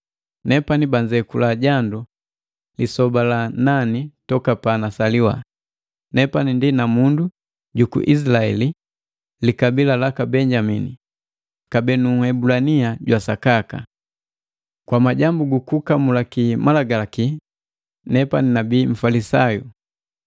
Nepani banzekula jandu lisoba la nani toka panasaliwa. Nepani ndi namundu juku Izilaeli, likabila laka Benyamini, kabee nu Nhebulania jwa sakaka. Kwa majambu gukukamulaki Malagalaki nepani nabii Mfalisayo.